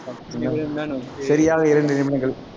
சரியாக இரண்டு நிமிடங்கள்